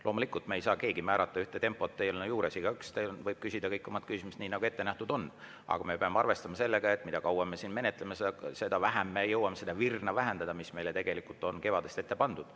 Loomulikult ei saa keegi määrata eelnõu mingit tempot, igaüks võib küsida ära kõik oma küsimused, nii nagu ette nähtud on, aga me peame arvestama sellega, et mida kauem me siin menetleme, seda vähem me jõuame seda virna vähendada, mis on meile tegelikult kevadest ette pandud.